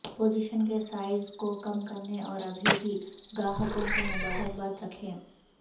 position کے size کو کم کرنے اور ابھی بھی گاہکوں کو مبارکباد رکھیں